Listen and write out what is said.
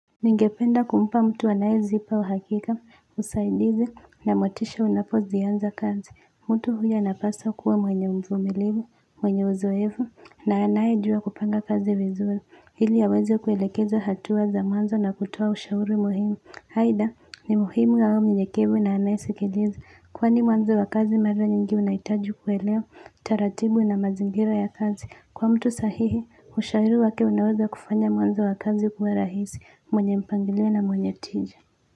Ningependa kumpa mtu anayezipa uhakika, usaidizi a motisha unapozianza kazi. Mtu huyo anapasa kuwa mwenye mvumilivu, mwenye uzoevu, na anayejua kupanga kazi vizuri. Ili aweze kuelekeza hatua za mwanzo na kutoa ushauri muhimu. Aidha, ni muhimu awe mnyenyekevu na anayesikiliza. Kwani mwanzo wa kazi mara nyingi unahitaji kuelewa, taratibu na mazingira ya kazi. Kwa mtu sahihi, ushauri wake unaweza kufanya mwanzo wa kazi kuwa rahisi. Mwenye mpangilio na mwenye tija.